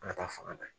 An ka taa fanga na